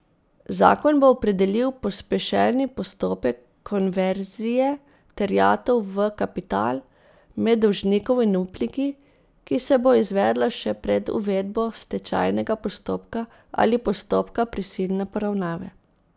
Zakon bo opredelil pospešeni postopek konverzije terjatev v kapital med dolžnikom in upniki, ki se bo izvedla še pred uvedbo stečajnega postopka ali postopka prisilne poravnave.